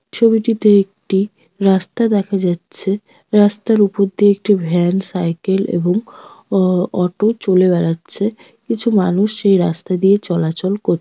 ছবিটিতে একটি রাস্তা দেখা যাচ্ছে। রাস্তার উপর দিয়ে একটি ভ্যান সাইকেল এবং অ অটো চলে বেড়াচ্ছে। কিছু মানুষ সেই রাস্তা দিয়ে চলাচল কর --